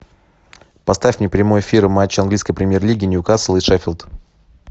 поставь мне прямой эфир матча английской премьер лиги ньюкасл и шеффилд